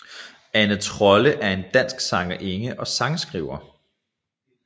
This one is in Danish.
Ane Trolle er en dansk sangerinde og sangskriver